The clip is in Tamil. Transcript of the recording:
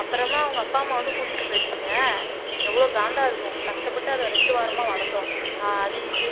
அப்புறமா அவங்க அப்பா அம்மா வந்து கூட்டிட்டு போயிடுச்சுங்க எவ்வளவு காண்டா இருக்கும் கஷ்டப்பட்டு அதை ரெண்டு வாரமா வளர்த்தோம் ஆஹ் அது இது